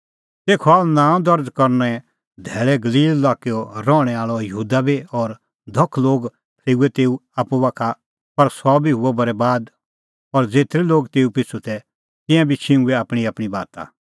तेखअ आअ नांअ दर्ज़ करने धैल़ै गलील लाक्कैओ रहणैं आल़अ यहूदा बी और धख लोग बी फरेऊऐ तेऊ आप्पू बाखा पर सह बी हुअ बरैबाद और ज़ेतरै लोग तेऊ पिछ़ू तै तिंयां बी छिंघुऐ आपणींआपणीं बाता